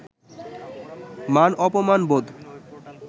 মান-অপমানবোধ